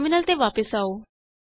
terminal ਤੇ ਵਾਪਸ ਆਉ